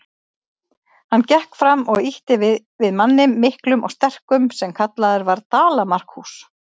Hann gekk fram og ýtti við manni, miklum og sterkum, sem kallaður var Dala-Markús.